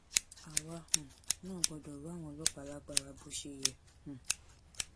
àwa um náà gbọdọ rọ àwọn ọlọpàá lágbára bó ṣe yẹ um